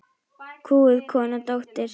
Kúguð kona, dóttir.